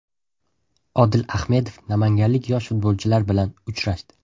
Odil Ahmedov namanganlik yosh futbolchilar bilan uchrashdi .